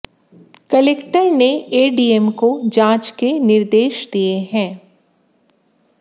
collector ने ADM को जांच के निर्देश दिए हैं